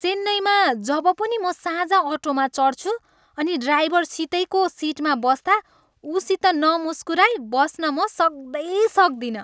चेन्नईमा जब पनि म साझा अटोमा चढ्छु अनि ड्राइभरसितैको सिटमा बस्दा ऊसित नमुस्कुराई बस्न म सक्दै सक्दिनँ।